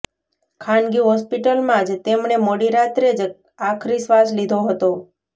ખાનગી હોસ્પિટલમાં જ તેમણે મોડી રાત્રે જ આખરી શ્વાસ લીધો હતો